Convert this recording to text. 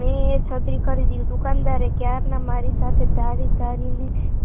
મેં એ છત્રી ખરીદી, દુકાનદાર ક્યારના મારી સામે ધરી ધરી ને